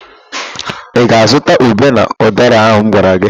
Ị ga-azụta ube na ụdara ahụ m gwara gị?